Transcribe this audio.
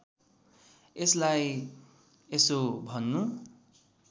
यसलाई यसो भन्नु